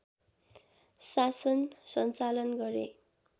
शासन सञ्चालन गरे